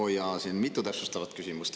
Oo jaa, siin on mitu täpsustavat küsimust.